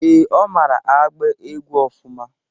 Ee, Ọ mara agba egwu ọfụma?